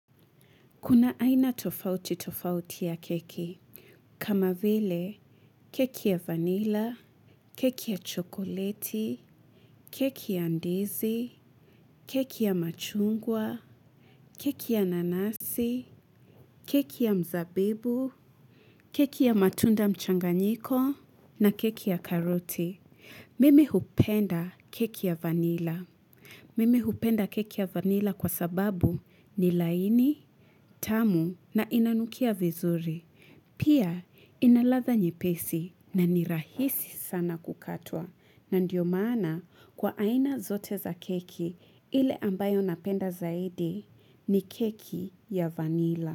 Kuna aina tofauti tofauti ya keki, kama vile keki ya vanila, keki ya chokoleti, keki ya ndizi, keki ya machungwa, keki ya nanasi, keki ya mzabibu, keki ya matunda mchanganyiko na keki ya karoti Mimi hupenda keki ya vanila. Mimi hupenda keki ya vanila kwa sababu ni laini, tamu na inanukia vizuri. Pia inaladha nyepesi na ni rahisi sana kukatwa. Na ndio maana kwa aina zote za keki ile ambayo napenda zaidi ni keki ya vanila.